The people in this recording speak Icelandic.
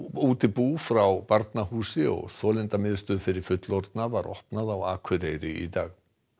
útibú frá Barnahúsi og þolendamiðstöð fyrir fullorðna var opnað á Akureyri í dag